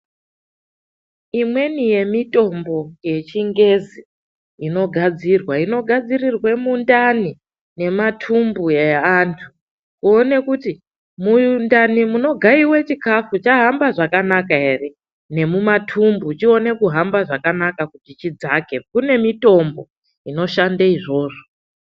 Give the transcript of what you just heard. Imweni yemitombo yechingezi inogadzirwa, inogadzirirwe mundani nematumbu eantu kuone kuti mundani munogaiwa chikafu chahamba zvakanaka ere, nemumatumbu chione kuhamba zvakanaka kuti chidzake kune mitombo inoshande izvozvo.